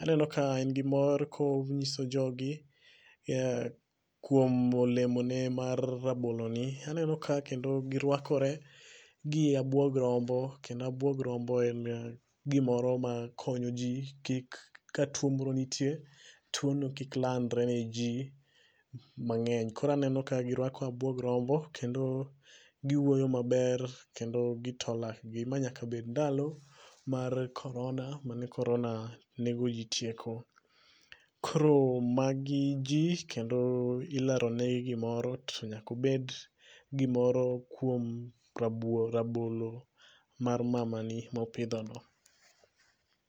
Aneno ka en gi mor ka onyiso jogi kuom olemoni mar raboloni aneno ka kendo giruakore gi abuog rombo kendo abuog rombo en gimoro makonyo ji kik ka tuo moronitie tuono kik landre niji mang'eny. Koro aneno ka giruako abuog rombo kendo giwuoyo maber kendo gito lakgi. Ma nyaka bed ndalo mar korona mane korona negoji tieko. Koro magi ji kendo ileronegi gimoro to nyaka obed gimoro kuom rabuor rabolo mar mamani mopidhono…